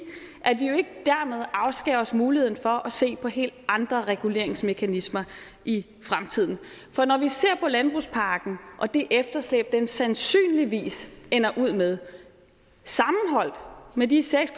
at vi jo ikke dermed afskærer os muligheden for at se på helt andre reguleringsmekanismer i fremtiden for når vi ser på landbrugspakken og det efterslæb den sandsynligvis ender ud med sammenholdt med de seks